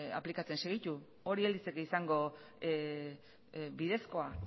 aplikatzen segitu hori ez litzake izango bidezkoa